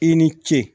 I ni ce